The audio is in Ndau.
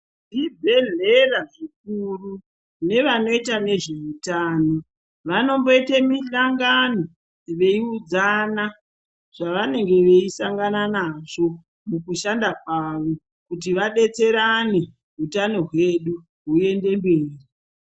Vezvibhedhlera zvikuru nevanoita nezveutano vanomboite misangano veiudzana zvavanenge veisangana nazvo mukushanda kwavo kuti vabetserane hutano hwedu huende mberi .